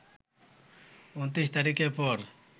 ২৯ তারিখের পর